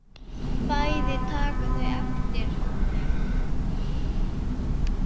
Bæði taka þau eftir honum.